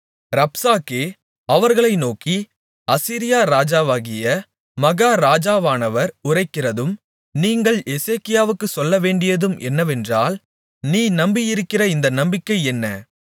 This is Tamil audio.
ரப்சாக்கே அவர்களை நோக்கி அசீரியா ராஜாவாகிய மகாராஜாவானவர் உரைக்கிறதும் நீங்கள் எசேக்கியாவுக்குச் சொல்லவேண்டியதும் என்னவென்றால் நீ நம்பியிருக்கிற இந்த நம்பிக்கை என்ன